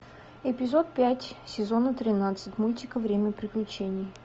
эпизод пять сезона тринадцать мультика время приключений